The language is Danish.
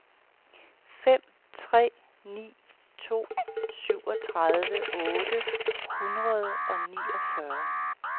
fem tre ni to syvogtredive otte hundrede og niogfyrre